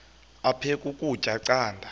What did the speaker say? aphek ukutya canda